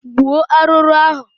Gbuo arụrụ ahụ!